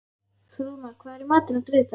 Þrúðmar, hvað er í matinn á þriðjudaginn?